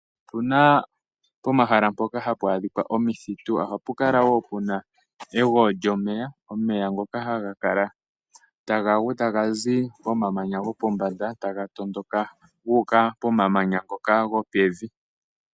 Opuna pomahala mpoka hapu adhika omithitu, ohapu kala woo puna egweyo lyomeya, omeya ngoka haga kala taga gu, taga zi momamanya gopombanda taga tondoka guuka pomamanya ngoka gopevi.